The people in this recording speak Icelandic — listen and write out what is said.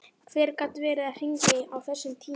Hver gat verið að hringja á þessum tíma?